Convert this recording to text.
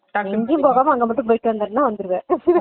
எங்கயும் போகாம அங்கமட்டும் போயிட்டு வந்திருணா வந்திருவே